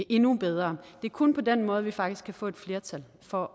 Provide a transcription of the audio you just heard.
endnu bedre det er kun på den måde vi faktisk kan få et flertal for